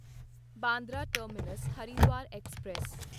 Bandra terminus Haridwar express